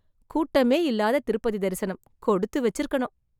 கூட்டமே இல்லாம திருப்பதி தரிசனம்! கொடுத்து வெச்ச்சருக்கணும்.